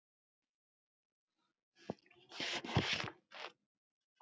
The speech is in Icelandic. Ég skildi hvað hann átti við.